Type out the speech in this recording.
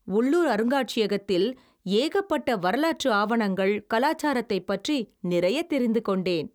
உள்ளூர் அருங்காட்சியகத்தில் ஏகப்பட்ட வரலாற்று ஆவணங்கள். கலாச்சாரத்தைப் பற்றி நிறையத் தெரிந்து கொண்டேன்.